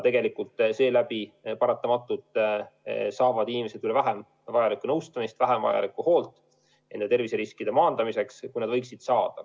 Seetõttu paratamatult saavad inimesed üha vähem vajalikku nõustamist, vähem vajalikku hoolt terviseriskide maandamiseks, kui nad võiksid saada.